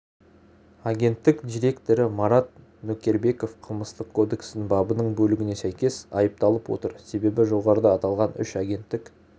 агенттік директоры марат нөкербеков қылмыстық кодекстің бабының бөлігіне сәйкес айыпталып отыр себебі жоғарыда аталған үш агенттік